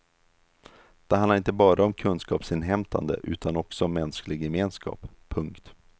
Det handlar inte bara om kunskapsinhämtande utan också mänsklig gemenskap. punkt